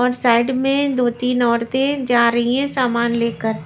और साइड में दो-तीन औरतें जा रही हैं सामान लेकर.